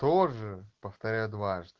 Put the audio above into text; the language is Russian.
тоже повторяю дважды